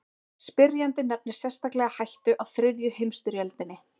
Spyrjandi nefnir sérstaklega hættu á þriðju heimstyrjöldinni.